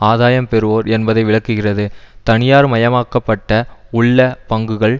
ஆதாயம் பெறுவோர் என்பதை விளக்குகிறது தனியார்மயமாக்கப்பட்ட உள்ள பங்குகள்